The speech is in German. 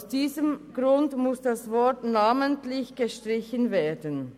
Aus diesem Grund muss der Begriff «namentlich» gestrichen werden.